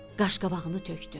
Qaşqabağını tökdü.